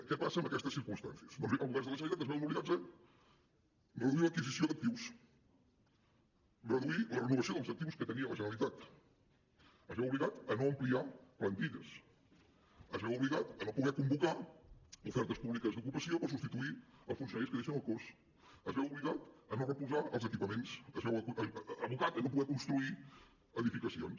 què passa en aquestes circumstàncies doncs bé els governs de la generalitat es veuen obligats a reduir l’adquisició d’actius reduir la renovació dels actius que tenia la generalitat es veu obligat a no ampliar plantilles es veu obligat a no poder convocar ofertes públiques d’ocupació per substituir els funcionaris que deixen el cos es veu obligat a no reposar els equipaments es veu abocat a no poder construir edificacions